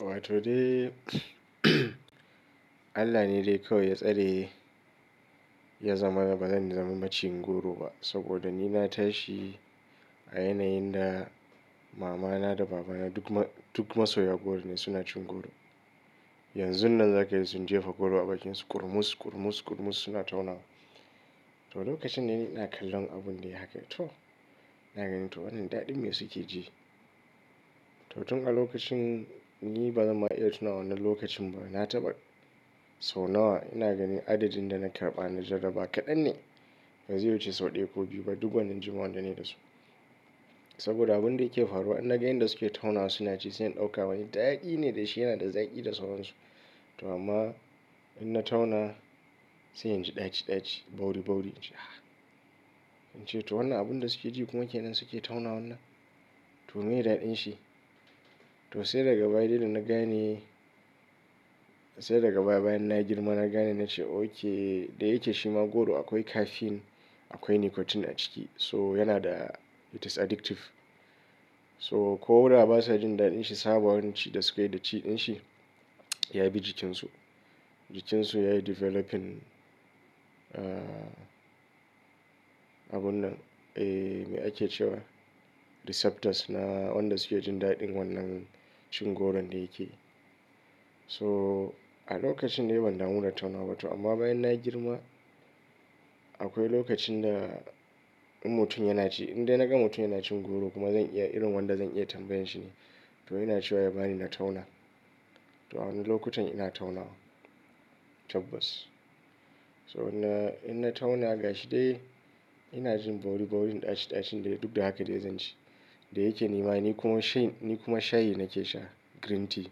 To dai Allah ne dai kawai ya tsare ya zamana da ba zan zama macen goro ba. Saboda ni na tashi a yanayin da mama na da baba na duk masoya goro ne suna cin goro. Yanzu nan za ka ga su jefa goro a bakin su, kurmus, kurmus, kurmus suna tauna wa. To lokacin da ni na kallan abun dai haka to. Ina gani to wannan daɗin me suke ji? To tun a lokacin ni bazan ma iya tuna wannan lokacin ba. Na taɓa sau nawa ina gani adadin da na karɓa na jaraba kaɗan ne. Bazai wuce sau ɗaya ko biyu ba duk wannan jima'an da ni da su. Saboda abun da yake faruwa in na ga inda suke tauna suna ci sai in ɗauka wani. Daɗi ne da shi yana da zaƙi da sauran su. To amma in na tauna sai inji ɗaci ɗaci, bauri bauri. Ince to wannan abun da suke ji kuma wannan ke nan suke tauna wannan. To miye daɗin shi? To sai daga bayane dai da na gane. Sai daga baya bayan na girma na gani na ce okay. Da yake shima goro akwai caffeine akwai nicotine a ciki. So yana da it is addictive. So koda ba sa jin daɗin shi sabanin ci da suke da ciɗin shi. Ya bi jikin su. Jikin su yayi developing. Ah abun nan. Eh me ake cewa receptors na wanda suke jin daɗin wannan cin goron da yake. So a lokacin dai ban damu da tauna ba to. Amma bayan na girma akwai lokacin da in mutum yana ci. Inda na ga mutum yana cin goro kuma zan iya irin wanda zan iya tambayan shi ne. To ina ce wa ya bani na tauna. To a wannan lokutan ina tauna. Tabbas. So in na tauna gashi dai ina jin bauri baurin ɗaci ɗacin dai duk da haka dai zan ci. Da yake ni ma ni kuma shayi nake sha green tea.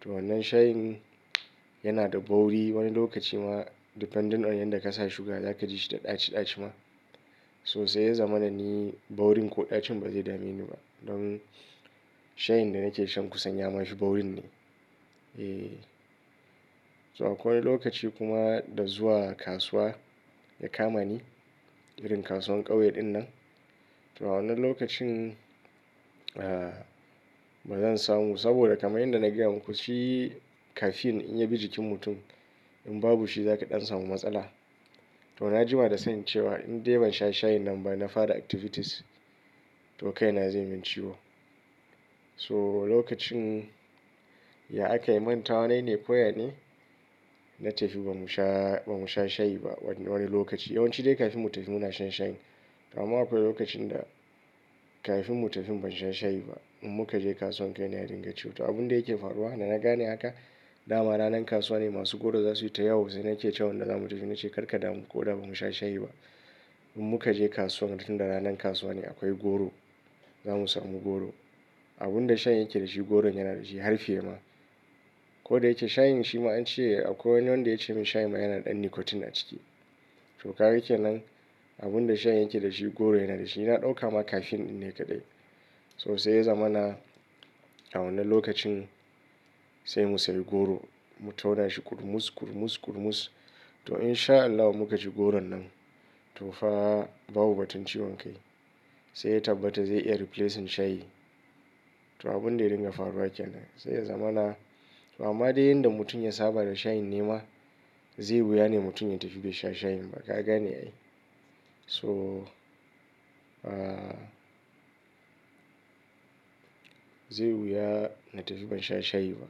To wannan shayin yana da bauri wani lokaci ma depending on yanda ka sa suga za ka ji shi da ɗaci ɗaci ma. So sai ya zama na ni baurin ko ɗacin ba zai dameni ba. Don shayin da nake shan kusanya ma shi baurin ne. Eh. To akwai lokaci kuma da zuwa kasuwa ya kama ni. Irin kasuwar ƙauye ɗinnan. To a wannan lokacin ah bazan samu. Saboda kamar yanda na gaya muku shi caffeine in ya bi jikin mutum in babu shi za ka ɗan samu matsala. To na jima da sani cewa in dai ban sha shayin nan ba na fara activities. To kai na zai min ciwo. So lokacin ya a kai mantawa nayi ne ko ya ne. Na tafi bamu sha shayi ba wani lokaci. Yawanci dai kafin mu tafi muna shan shayin. Amma akwai lokacin da kafin mu tafi ban sha shayi ba. In muka je kasuwan kai na ya dinga ciwo. To abun da yake faruwa da na gane haka. Da ma ranan kasuwa ne masu goro za su yi ta yawa sai na ce wa wanda zamu tafi na ce karka damu ko da bamu sha shayi ba. In muka je kasuwan tun da ranan kasuwa ne akwai goro. Za mu samu goro. Abun da shayin yake da shi goron yana da shi har fiye ma. Ko da yake shayin shi ma an ce akwai wani wanda ya ce min shayin ma yana da ɗan nicotine a ciki. To ka gake nan abun da shayin yake da shi goron yana da shi. Na ɗauka ma caffeine ɗin ne kaɗai. So sai ya zama na a wannan lokacin sai mu sayi goro. Mu tauna shi kurmus, kurmus, kurmus. To in sha Allahu muka ci goron nan. To fa babu batun ciwon kai. Sai ya tabbata zai iya replacing shayi. To abun da ya dinga faruwa ke nan. Sai ya zama na amma dai yanda mutum ya saba da shayin nema. Zai wuya ne mutum ya tafi bai sha shayin ba. Ka gane ai. So ah zai wuya na tafi ban sha shayi ba.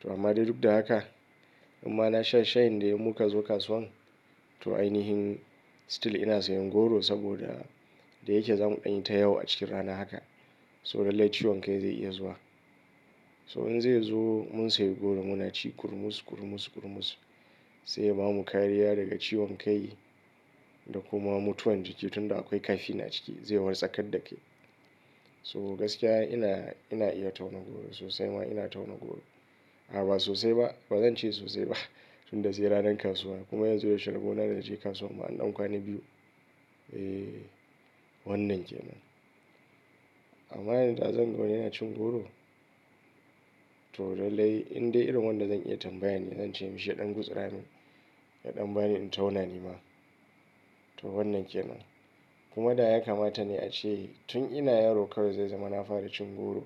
To amma dai duk da haka in ma na sha shayin dai muka zo kasuwan. To ai nihin still ina sayan goro saboda da yake za mu ɗan yi ta yawa a cikin rana haka. So lallai ciwon kai zai iya zuwa. So in zai zo mun sayi goro muna ci kurmus, kurmus, kurmus. Sai ya bamu kariya daga ciwon kai da kuma mutuwan jiki. Tun da akwai caffeine a ciki zai wartsakar da kai. So gaskiya ina iya tauna goro sosai ma ina tauna goro. A'a ba sosai ba bazan ce sosai ba. Tun da sai ranan kasuwa kuma yanzu da yaushe rabo da inje kasuwa ma an ɗan kwana biyu. Eh wannan ke nan. Amma yanda zan ga yana cin goro. To lallai indai irin wanda zan iya tambaya ne zan ce mishi ya ɗan gutsarani. Ya ɗan bani in tauna ni ma. To wannan ke nan. Kuma da ya kamata ne ace tun ina yaro kawai zai zama na fara cin goro.